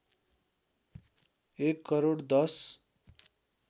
एक करोड १०